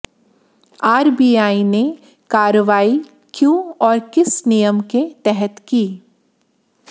RBI ने कार्रवाई क्यों और किस नियम के तहत की